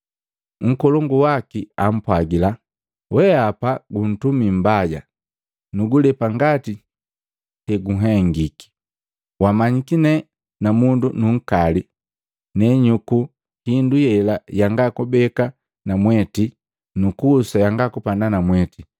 Nkolongu waki ampwagila, ‘We hapa guntumi mbaja nukulepa ngati heguhengiki! Wamanyiki ne na mundu nunkali, nenyuku hindu yela yanga kubeka namweti nukuhusa yanga kupanda namweti.